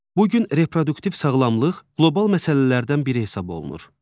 Bu gün reproduktiv sağlamlıq qlobal məsələlərdən biri hesab olunur.